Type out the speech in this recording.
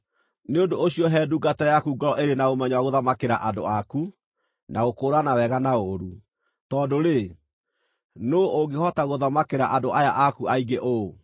Nĩ ũndũ ũcio he ndungata yaku ngoro ĩrĩ na ũmenyo wa gũthamakĩra andũ aku, na gũkũũrana wega na ũũru. Tondũ-rĩ, nũũ ũngĩhota gũthamakĩra andũ aya aku aingĩ ũũ?”